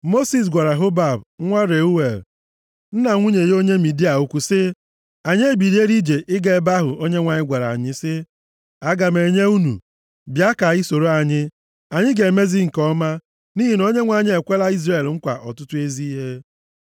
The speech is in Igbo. Mosis gwara Hobab nwa Reuel, + 10:29 \+xt Ọpụ 2:18\+xt* nna nwunye ya onye Midia okwu sị, “Anyị ebiliela ije ịga ebe ahụ Onyenwe anyị gwara anyị sị, ‘Aga m enye unu.’ Bịa ka ị soro anyị. Anyị ga-emezi gị nke ọma nʼihi na Onyenwe anyị ekwela Izrel nkwa ọtụtụ ezi ihe.”